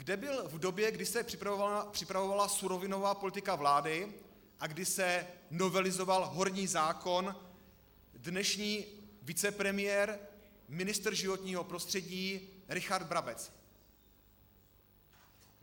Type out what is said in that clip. Kde byl v době, kdy se připravovala surovinová politika vlády a kdy se novelizoval horní zákon dnešní vicepremiér, ministr životního prostředí Richard Brabec?